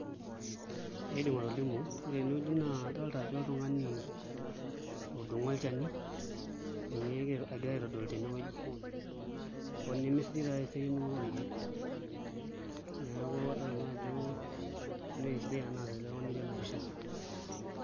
Indim atolimu ore tenewueji naa adolta ajo oltung'ani otudung'o olchani, ninye egirai aitodolu tenewueji hoo nemesidai taatoi endung'oto orkeek neeku adolta nanu ajo meesidai enaasita ele tung'ani otii ena pisha.